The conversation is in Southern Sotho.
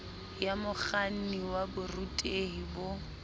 ya mokganni wa borutehi bo